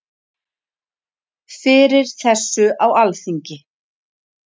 Fyrir þessu á Alþingi.